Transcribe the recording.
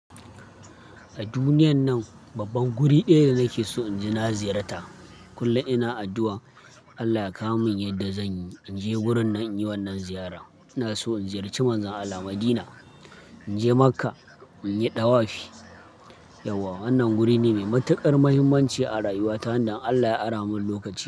A duniyan nan babban guri ɗaya da nake so in je na ziyarta. Kullum ina addu'a Allah ya kawo mun yadda zanyi inje wurin nan in yi wannan ziyara. Ina so in ziyarci Manzan Allah Madina, in je Makka, in yi ɗawafi. Yauwa wannan wuri ne mai matuƙar muhimmanci a rayuwa ta, wanda Allah ya ara mun lokaci.